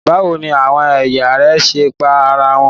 Báwo ni àwọn aya rẹ̀ ṣe pa ara wọn?